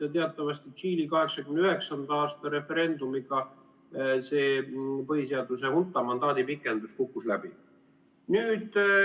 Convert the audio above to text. Ja teatavasti Tšiili 1989. aasta referendumiga see põhiseaduse hunta mandaadi pikendus kukkus läbi.